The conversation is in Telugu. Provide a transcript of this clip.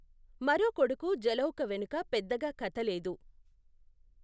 మరో కొడుకు జలౌక వెనుక పెద్దగా కథ లేదు.